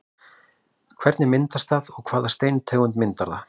Hvernig myndast það og hvaða steintegund myndar það?